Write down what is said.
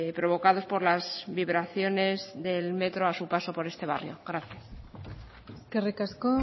provocados por las vibraciones del metro a su paso por este barrio gracias eskerrik asko